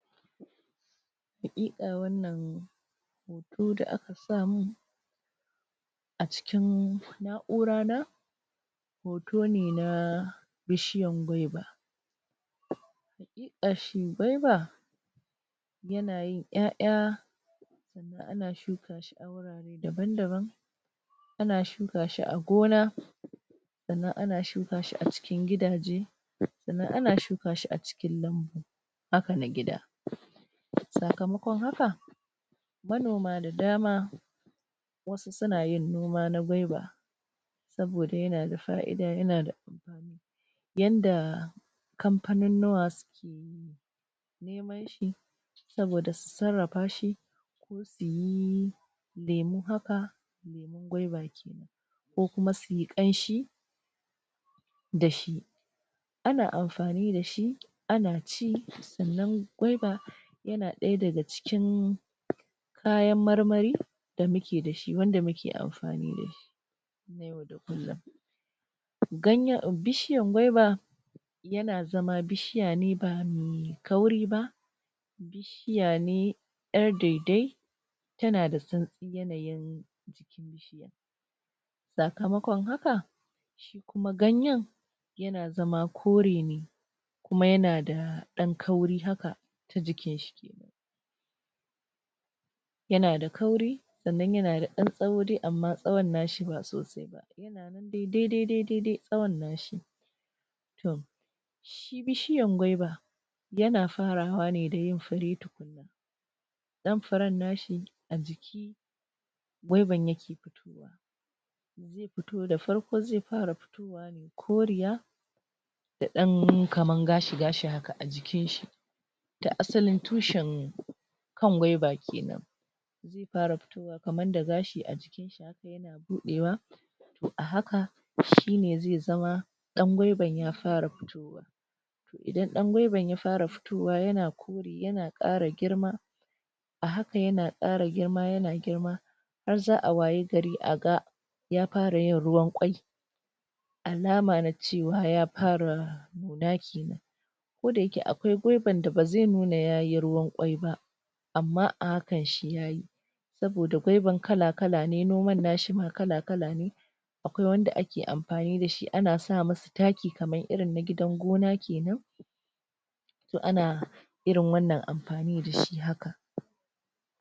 hakika wanan hoto da a ka sa mun hoto da a ka sa mun a cikin nakura na hoto ne na bishiyan gwaiva hakika shi gwaiva yana yin ya'ya sannan ana sannan ana shuka ka shi a wurare daban daban ana shuka shi a gona sannan ana shuka shi a cikin gidaje sannan ana shuka shi a cikin lambu haka na gida sakamakon haka manoma da dama wasu suna yin noma na gwaiva saboda na da fa'ida da amfani yanda kampanunnuwa suke yi neman shi saboda su sarrafa shi ko su yi lemu haka lemun gwaiva kenan ko kuma su yi kanshi da shi ana anfani da shi ana ci sannan gwaiva yana daya da ga cikin kayan marmari da mu ke da shi wan da muke anfani da shi na yau da kullum ganyen, bishiyan gwaiva yana zama bishiya ne bamai kauri ba bishiya ne yar dedai tana da sansi yanayin jikin bishiyan sakamakon haka shi kuma ganyen na zama kore ne kuma ya na da dan kauri haka ta jikin shi kenan yana da kauri sannan ya na da saho amma sahon na shi ba sosai ba yana nan dai dai dai sahon na shi toh shi bishiyan gwaiva yana fara wa ne dayin fure tukunna dan furen na shi a jiki gwaivan ya ke fitowa zai fito da farko zai fara fito wa ne kaman koriya da dan kaman gashi gashi haka a jikin shi ga asalin tushin kan gwaiva kenen zai fara fito wa kaman da gashi a jikin shi haka yana budewa haka shine zai zama dan gwaivan ya fara fitowa toh idan dan gwaivan ya fara fitowa yana kore yana kara girma a hakan yana kara girma yana girma har za a wayi gari a ga ya fara yin ruwan kwayi alama na cewa ya fara nuna kenan koda yake akwai wan da bazai nuna ya yi ruwan kwaiyi ba amma a hakan ya fara nuna saboda gwaivan kala kala ne noman na shi ma kala kala ne a kwai wanda a ke amfani da shi ana sami shi taki kamar yadda ake wa na gidan gona kenan akwai wanda ake amfani da shi ana sami shi so ana anfani da i